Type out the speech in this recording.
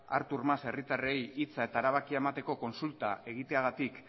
artur mas herritarrei hitza eta erabakia emateko kontsulta egiteagatik